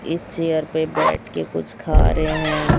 इस चेयर पे बैठके कुछ खा रहे हैं।